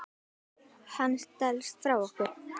Hann stelst frá okkur.